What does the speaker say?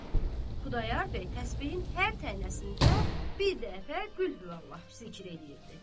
Xudayar bəy təsbehin hər tənnəsində bir dəfə Qulhuvallah zikr eləyirdi.